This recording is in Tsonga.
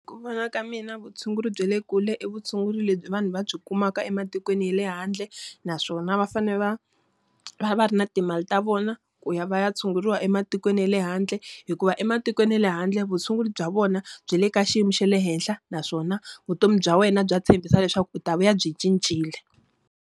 Ku vona ka mina vutshunguri bya le kule i vutshunguri lebyi vanhu va byi kumaka ematikweni hi le handle, naswona va fanele va va va ri na timali ta vona ku ya va ya tshunguriwa ematikweni ya le handle. Hikuva ematikweni ya le handle vutshunguri bya vona, bya le ka xiyimo xa le henhla naswona vutomi bya wena bya tshembisa leswaku u ta vuya byi cincile.